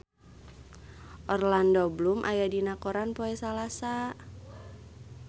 Orlando Bloom aya dina koran poe Salasa